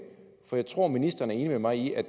for jeg tror at ministeren er enig med mig i at